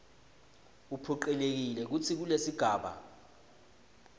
uphocelelekile kutsi kulesigaba